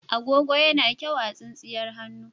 Agogo yana kyau a tsintsiyar hannu.